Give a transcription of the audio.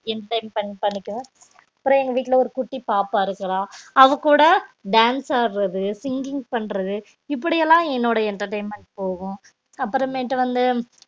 entertainment பண்ணிக்குவோம் அப்பறம் எங்க வீட்டுல ஒரு குட்டி பாப்பா இருக்குற அதுகூட dance ஆடுறது singing பண்றது இப்டியெல்லாம் என்னோட entertainment போகும் அப்பறம் மேட்டு வந்து